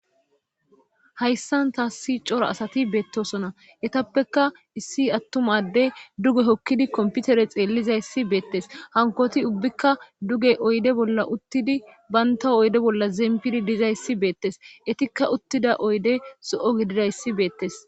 Hayssan taassi cora asati beettosona etappeka issi attumadde duge hokkidi komputere xeellizayssi beettes hankoti ubbikka duge oyde bolla uttidi baynta oyde bolla zeempidi dizayssi beettes etikka uttida oyde so'o gididayssi beettes.